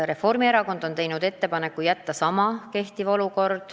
Reformierakond on teinud ettepaneku jätta olukord endiseks.